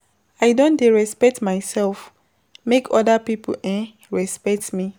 I don dey respect mysef make oda pipo um respect me.